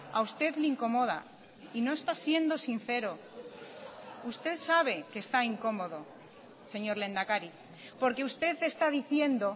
a usted le incomoda y no está siendo sincero usted sabe que está incómodo señor lehendakari porque usted está diciendo